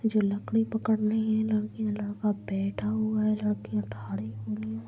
जो लकड़ी पकड़ रही है लड़की लड़का बैठा हुआ है लड़की ठाड़े हुई है।